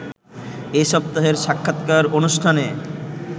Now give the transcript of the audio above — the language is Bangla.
এ সপ্তাহের সাক্ষাৎকার অনুষ্ঠানে